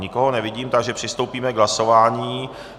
Nikoho nevidím, takže přistoupíme k hlasování.